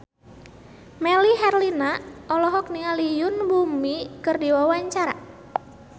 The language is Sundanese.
Melly Herlina olohok ningali Yoon Bomi keur diwawancara